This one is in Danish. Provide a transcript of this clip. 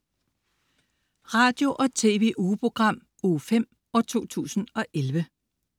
Radio- og TV-ugeprogram Uge 5, 2011